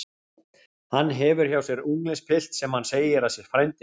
Hann hefur hjá sér unglingspilt sem hann segir að sé frændi sinn.